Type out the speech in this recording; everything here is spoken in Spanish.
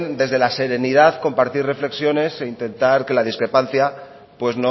desde la serenidad compartir reflexiones e intentar que la discrepancia pues